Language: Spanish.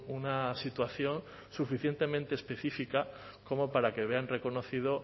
una situación suficientemente específica como para que vean reconocido